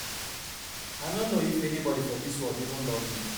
I no know if anybody for dis world even love me.